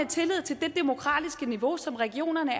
tillid til det demokratiske niveau som regionerne